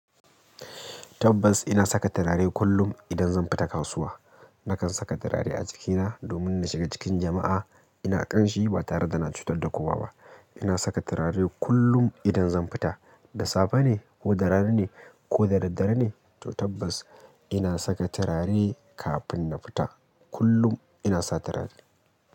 Tabbas ina saka turare kullum idan zan fita kasuwa. Nakan saka turare a jikina domin na shiga cikin jama'a ina ƙanshi ba tare da na cutar da kowa ba. Ina saka turare kullum idan zan fita, da safe ne ko da rana ne ko da daddare ne, to tabbas ina saka turare kafin na fita. Kullum ina sa turare.